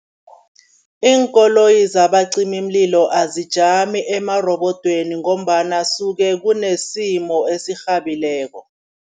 Iinkoloyi zabacimimlilo azijami emarobodweni ngombana suke kunesimo esirhabileko.